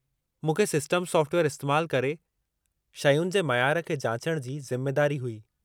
मूंखे सिस्टम साफ़्टवेयरु इस्तैमालु करे शयुनि जे मयारु खे जाचण जी ज़िमेदारी हुई।